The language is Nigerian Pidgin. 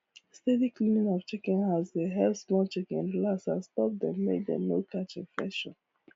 steady cleaning of chicken house dey help small chicken relax and stop dem make dem no catch infection